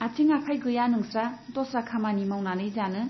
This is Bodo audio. आथिं आखाय गैया नोंस्रा दस्रा खामानि मावनानै जानो ?